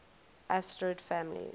asterid families